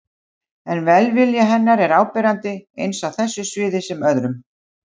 En velvilji hennar er áberandi, eins á þessu sviði sem öðrum.